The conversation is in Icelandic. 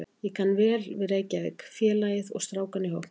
Ég kann vel Reykjavík, félagið og strákana í hópnum.